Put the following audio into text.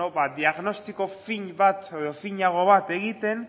beno ba diagnostiko fin bat edo finago bat egiten